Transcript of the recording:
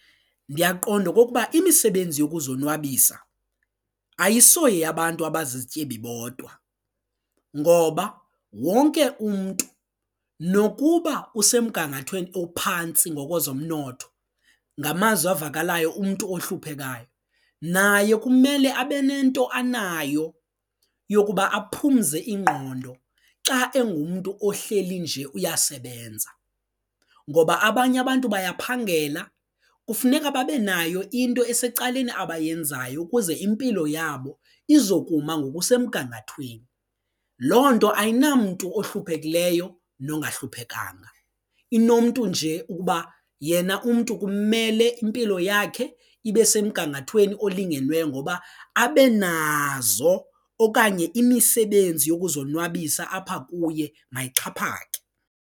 Ndiyaqonda okokuba imisebenzi yokuzonwabisa ayisoyabantu abazizityebi bodwa ngoba wonke umntu nokuba usemgangathweni ophantsi ngokwezomnotho ngamazwi avakalayo umntu ohluphekayo naye kumele abe nento anayo yokuba aphumze ingqondo xa engumntu ohleli nje uyasebenza ngoba abanye abantu bayaphangela kufuneka babe nayo into esecaleni abayenzayo ukuze impilo yabo izokuma ngokusemgangathweni loo nto ayinamntu ohluphekileyo nongahluphekanga, inomntu nje ukuba yena umntu kumele impilo yakhe ibe semgangathweni olingenweyo ngoba abe nazo okanye imisebenzi yokuzonwabisa apha kuye mayixhaphake.